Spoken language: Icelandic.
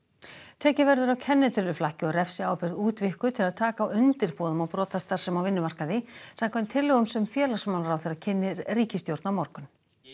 tekið verður á kennitöluflakki og refsiábyrgð útvíkkuð til að taka á undirboðum og brotastarfsemi á vinnumarkaði samkvæmt tillögum sem félagsmálaráðherra kynnir ríkisstjórn á morgun